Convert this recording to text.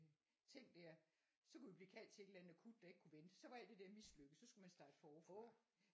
Ting der så kunne vi blive kaldt til et eller andet akut der ikke kunne vente så var alt de der mislykkedes og så skulle man starte forfra